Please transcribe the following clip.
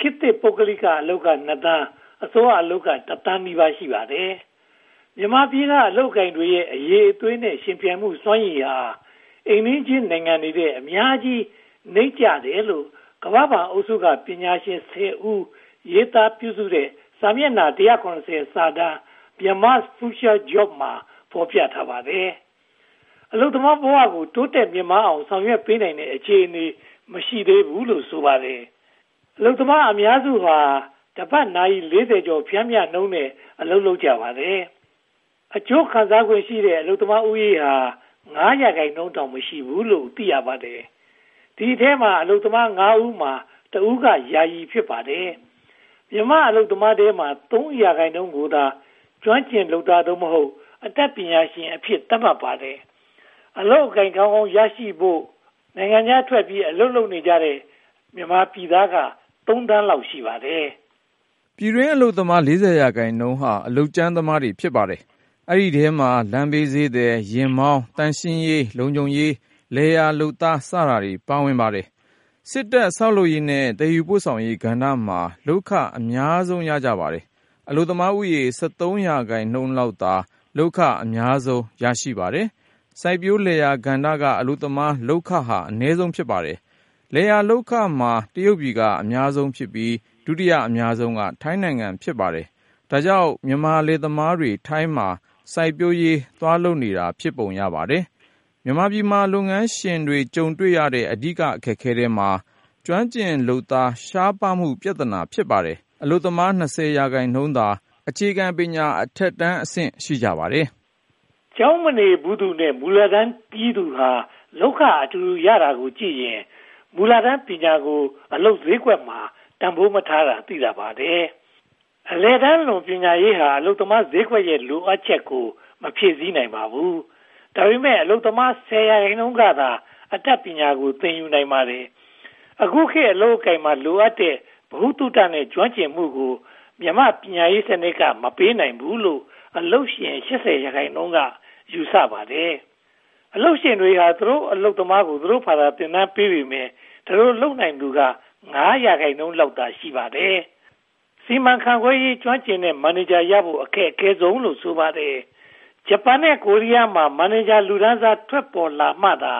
ခေတ်သစ် ပုဂ္ဂလိကအလုပ်က (၂) သန်း၊ အစိုးရအလုပ်က (၁) သန်းနီးပါး ရှိပါတယ်။ မြန်မာပြည်က အလုပ်အကိုင်တွေရဲ့ အရည်အသွေးနဲ့ ယှဉ်ပြိုင်မှုစွမ်းရည်ဟာ အိမ်နီးချင်းနိုင်ငံတွေထက် အများကြီးနိမ့်ကျတယ်လို့ ကမ္ဘာ့ဘဏ်အုပ်စုက ပညာရှင် (၁၀) ဦး ရေးသားပြုစုတဲ့ စာမျက်နှာ (၁၇၀) စာတမ်း Myanmar’s Future Jobs မှာ ဖော်ပြထားပါတယ်။ အလုပ်သမားဘဝကို တိုးတက်မြင့်မားလာအောင် ဆောင်ရွက်ပေးနိုင်တဲ့ အခြေအနေ မရှိသေးဘူးလို့ ဆိုပါတယ်။ အလုပ်သမားအများစုဟာ တပတ်နာရီ (၄၀) ကျော် ပျမ်းမျှနှုန်းနဲ့ အလုပ်လုပ်ကြပါတယ်။ အကျိုးခံစားခွင့်ရှိတဲ့ အလုပ်သမားဦးရေဟာ (၅) ရာခိုင်နှုန်းတောင် မရှိဘူးလို့ သိရပါတယ်။ ဒီအထဲမှာ အလုပ်သမား (၅) ဦးမှာ တဦးက ယာယီ ဖြစ်ပါတယ်။ မြန်မာအလုပ်သမားထဲမှာ (၃) ရာခိုင်နှုန်းကိုသာ ကျွမ်းကျင်လုပ်သား (သို့မဟုတ်) အတတ်ပညာရှင်အဖြစ် သတ်မှတ်ထားပါတယ်။ အလုပ်အကိုင် ကောင်းကောင်းရရှိနိုင်ဖို့အတွက် နိုင်ငံခြားထွက်ပြီး အလုပ်လုပ်နေတဲ့ မြန်မာပြည်သားက (၃) သန်းလောက် ရှိပါတယ်။ ပြည်တွင်းအလုပ်သမား (၄၀) ရာခိုင်နှုန်းဟာ အလုပ်ကြမ်းသမား ဖြစ်ပါတယ်။ ဒီအထဲမှာ လမ်းဘေးဈေးသည်၊ ယာဉ်မောင်း၊ သန့်ရှင်းရေး၊ လုံခြုံရေး၊ လယ်ယာလုပ်သား စသည်တို့ ပါဝင်ပါတယ်။ စစ်တပ်၊ ဆောက်လုပ်ရေးနဲ့ သယ်ယူပို့ဆောင်ရေးကဏ္ဍမှာ လုပ်ခအများဆုံး ရကြပါတယ်။ အလုပ်သမားဦးရေ (၁၃) ရာခိုင်နှုန်းလောက်သာ လုပ်ခ အများဆုံး ရကြပါတယ်။ စိုက်ပျိုးလယ်ယာကဏ္ဍက အလုပ်သမားလုပ်ခဟာ အနည်းဆုံး ဖြစ်ပါတယ်။ လယ်ယာလုပ်ခမှာ တရုတ်ပြည်က အများဆုံးဖြစ်ပြီး၊ ဒုတိယအများဆုံးက ထိုင်းနိုင်ငံ ဖြစ်ပါတယ်။ ဒါကြောင့် မြန်မာလယ်သမားတွေ ထိုင်းမှာ စိုက်ပျိုးရေးလုပ်နေတာ ဖြစ်ပုံရပါတယ်။ မြန်မာပြည်မှာ လုပ်ငန်းရှင်တွေ ကြုံတွေ့နေရတဲ့ အဓိက အခက်အခဲထဲမှာ ကျွမ်းကျင်လုပ်သား ရှားပါးမှုလည်း ပါဝင်ပါတယ်။ အလုပ်သမား (၂၀) ရာခိုင်နှုန်းသာ အခြေခံပညာအထက်တန်း ရှိပါတယ်။ ကျောင်းမနေဘူးသူနဲ့ မူလတန်းပြီးသူဟာ လုပ်ခအတူတူ ရကြတာကိုကြည့်ရင် မူလတန်းပညာကို အလုပ်ဈေးကွက်မှာ တန်းဖိုးမထားတာ သိသာပါတယ်။ အလယ်တန်းလွန် ပညာရေးဟာလည်း အလုပ်သမားဈေးကွက်ရဲ့ လိုအပ်ချက်ကို မဖြည့်ဆည်းနိုင်ပါဘူး။ ဒါပေမဲ့ အလုပ်သမား (၁၀) ရာခိုင်နှုန်းကသာ အတတ်ပညာကို သင်ယူနိုင်ပါတယ်။ အခုခေတ် အလုပ်အကိုင်မှာ လိုအပ်နေတဲ့ ဗဟုသုတနဲ့ ကျွမ်းကျင်မှုကို မြန်မာ့ပညာရေးစနစ်က မပေးနိုင်ဘူးလို့ အလုပ်ရှင် (၈၀) ရာခိုင်နှုန်းက ယူဆပါတယ်။ အလုပ်ရှင်တွေဟာ သူတို့အလုပ်သမားကို သူတို့ဘာသာ သင်တန်းပေးနေပေမယ့် ဒီလိုလုပ်နိုင်သူက (၅) ရာခိုင်နှုန်းလောက်သာ ရှိပါတယ်။ စီမံခန့်ခွဲရေး ကျွမ်းကျင်တဲ့မန်နေဂျာကိုရဖို့ အခက်ခဲဆုံးလို့ ဆိုပါတယ်။ ဂျပန်နဲ့ ကိုရီးယားမှာလို မန်နေဂျာလူတန်းစား ထွက်ပေါ်လာမှသာ